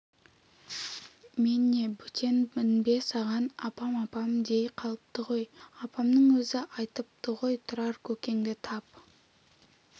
мен не бөтенмін бе саған апам-апам дей қалыпты ғой апаңның өзі айтыпты ғой тұрар көкеңді тап